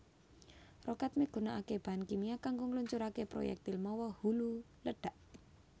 Rokèt migunakaké bahan kimia kanggo ngluncuraké proyektil mawa hulu ledhak